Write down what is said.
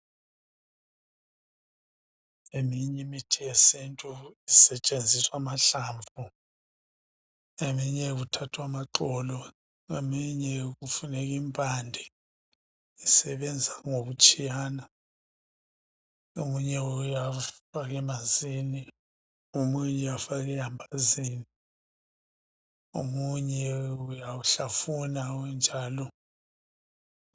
eminye imithi yesintu kusetshenziswa amahlamvu eminye kuthathwa amaxolo eminye kufuneka impande isebenza ngokutshiyana omunye uyafakwa emanzini omunye uyafaka elamabazini omunye uyawuhlafuna unjalo